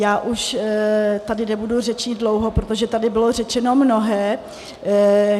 Já už tady nebudu řečnit dlouho, protože tady bylo řečeno mnohé.